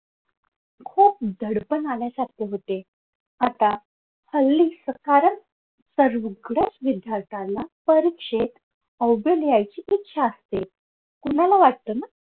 खूप दडपण आल्यासारखे होते आता हल्ली सकारण सगळीकडे विद्यार्थ्याला परीक्षेत लिहायची इच्छा असते तुम्हाला वाटत ना